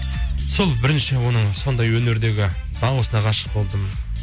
сол бірінші оның сондай өнердегі дауысына ғашық болдым